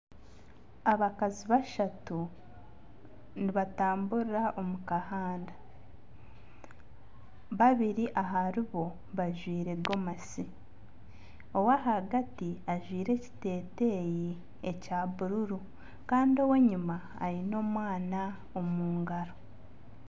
Abakazi bashatu nibatamburira omu kahanda babiri aharibo bajwaire gomasi owahagati ajwaire ekiteteeya ekya buruuru kandi ow'enyuma aine omwana omungaro.